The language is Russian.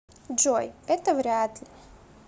джой это вряд ли